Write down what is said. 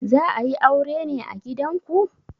Za a yi aure ne a gidanku?